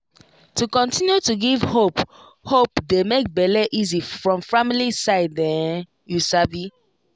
to continue to give hope hope dey make bele easy from family side[um]you sabi